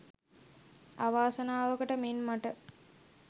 අවාසනාවකට මෙන් මට